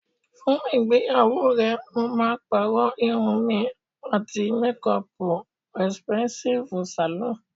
For your wedding, I'll be changing my hairstyle, and wearing a good makeup at the expensive salon.